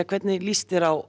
hvernig lýst þér á